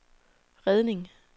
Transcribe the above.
redning